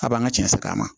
A b'an ka cɛ sɛgɛn a ma